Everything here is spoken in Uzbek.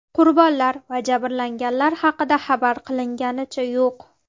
Qurbonlar va jabrlanganlar haqida xabar qilinganicha yo‘q.